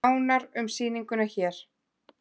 Nánar um sýninguna hér